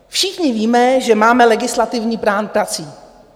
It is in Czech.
Všichni víme, že máme legislativní plán prací.